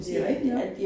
Det jo rigtig nok